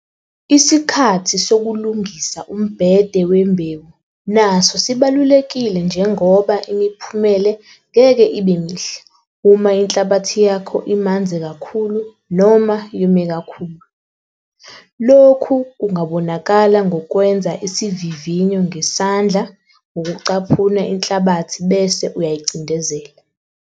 Isikhathi sokulungisa umbhede wembewu naso sibalulekile njengoba imiphumele ngeke ibe mihle uma inhlabathi yakho imanzi kakhulu noma yome kakhulu. Loku kungabonakala ngokwenza iisivivinyo ngesandla ngokucaphuna inhlabathi bese uyayicindezela.